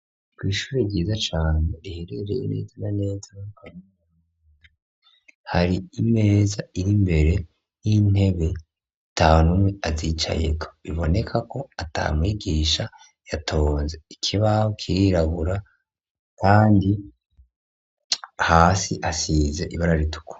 Ku Ishure ryiza cane riherereye neza rya neza hari imeza iri mbere y'intebe itanumwe azicayeko iboneka ko atamwigisha yatonze ikibaho kirirabura kandi hasi asize ibara rituku.